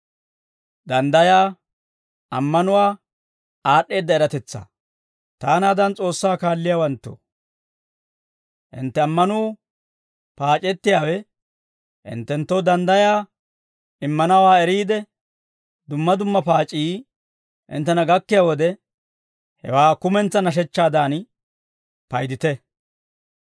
Taanaadan S'oossaa kaalliyaawanttoo, hintte ammanuu paac'ettiyaawe hinttenttoo danddayaa immanawaa eriide, dumma dumma paac'ii hinttena gakkiyaa wode, hewaa kumentsaa nashechchaadan paydite.